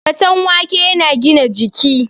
Faten wake yana gina jiki